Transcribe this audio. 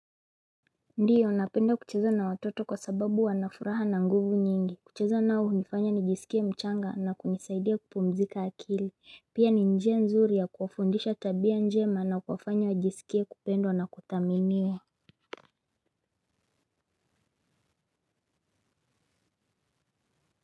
Ndio, napenda kucheza na watoto kwa sababu wanafuraha na nguvu nyingi. Kucheza nao hunifanya nijisikie mchanga na kunisaidia kupumzika akili. Pia ni njia nzuri ya kufundisha tabia njema na kuwafanya wajisikie kupendwa na kuthaminiwa.